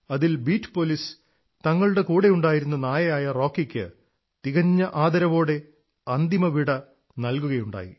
അതിൽ ബീഡ് പോലീസ് തങ്ങളുടെ കൂടെയുണ്ടായിരുന്ന നായയായ റോക്കിക്ക് തികഞ്ഞ ആദരവോടെ അന്തിമ വിട നല്കുകയുണ്ടായി